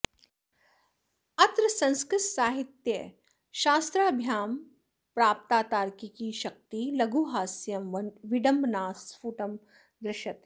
अत्र संस्कृतसाहित्यशास्त्राभ्यां प्राप्ता तार्किकी शक्तिः लघुहास्यं विडम्बना स्फुटं दृश्यते